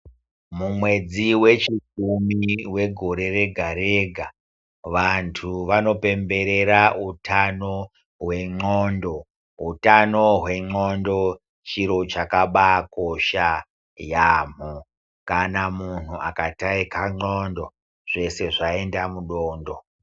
Mumwedzi wechikumi wegore rega rega vanthu vanopemberera utano hwendxondo utano hwendxondo chiro chakabaakosha yaamho kana munhu akataika ndxondo zvose vaenda mudondo.